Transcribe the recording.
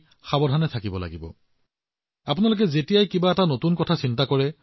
দেশত ৬২ কোটিতকৈও অধিক প্ৰতিষেধক প্ৰদান কৰা হৈছে কিন্তু তথাপিও আমি সাৱধান হব লাগিব আমি সতৰ্ক থাকিব লাগিব